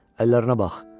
Əllərinə bax.